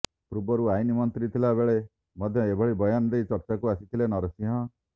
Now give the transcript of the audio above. ପୂର୍ବରୁ ଆଇନ ମନ୍ତ୍ରୀ ଥିଲା ବେଳେ ମଧ୍ୟ ଏଭଳି ବୟାନ ଦେଇ ଚର୍ଚ୍ଚା କୁ ଆସିଥିଲେ ନରସିଂହ